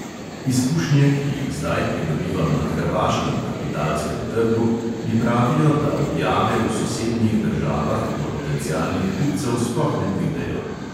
Izkušnje, ki jih zdaj pridobivam na hrvaškem kapitalskem trgu, mi pravijo, da objave v sosednjih državah do potencialnih kupcev sploh ne pridejo.